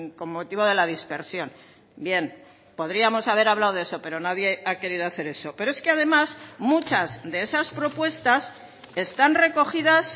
con motivo de la dispersión bien podríamos haber hablado de eso pero nadie ha querido hacer eso pero es que además muchas de esas propuestas están recogidas